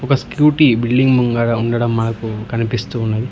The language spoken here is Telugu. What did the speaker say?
ఒక స్కూటీ బిల్డింగ్ ముంగర ఉండడం మనకు కనిపిస్తూ ఉన్నది.